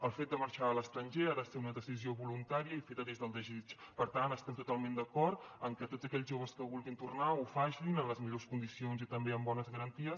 el fet de marxar a l’estranger ha de ser una decisió voluntària i feta des del desig per tant estem totalment d’acord amb que tots aquells joves que vulguin tornar ho facin en les millors condicions i també amb bones garanties